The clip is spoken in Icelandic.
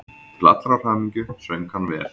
Til allrar hamingju söng hann vel!